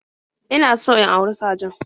In so in auri sajan